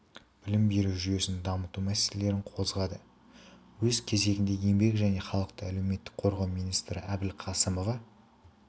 білім беру жүйесін дамыту мәселелерін қозғады өз кезегінде еңбек және халықты әлеуметтік қорғау министрі әбілқасымова